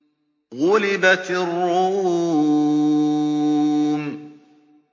غُلِبَتِ الرُّومُ